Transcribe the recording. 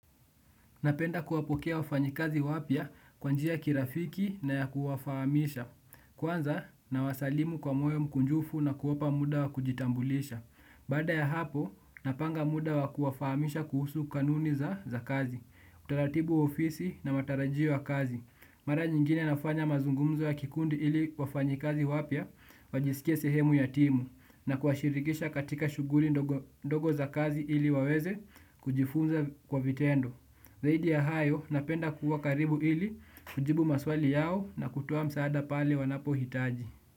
Napenda kuwapokea wafanyakazi wapya kwa njia ya kirafiki na ya kuwafahamisha. Kwanza nawasalimu kwa moyo mkunjufu na kuwapa muda wa kujitambulisha. Baada ya hapo, napanga muda wa kuwafahamisha kuhusu kanuni za kazi. Utaratibu wa ofisi na matarajio ya kazi. Mara nyingine nafanya mazungumzo ya kikundi ili wafanyikazi wapya, wajisikie sehemu ya timu, na kuwashirikisha katika shughuli ndogondogo za kazi ili waweze kujifunza kwa vitendo. Zaidi ya hayo, napenda kuwa karibu ili, kujibu maswali yao na kutoa msaada pale wanapohitaji.